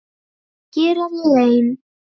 Hér er ég ein.